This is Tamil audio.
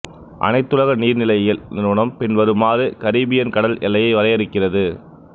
அனைத்துலக நீர்நிலையியல் நிறுவனம் பின்வருமாறு கரீபியன் கடல் எல்லையை வரையறுக்கிறது